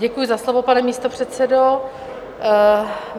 Děkuji za slovo, pane místopředsedo.